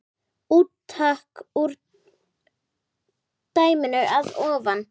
Úttak úr dæminu að ofan